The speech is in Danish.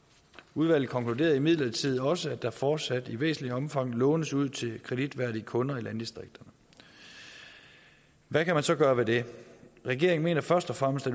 udvalget konkluderede imidlertid også at der fortsat i væsentligt omfang lånes ud til kreditværdige kunder i landdistrikterne hvad kan man så gøre ved det regeringen mener først og fremmest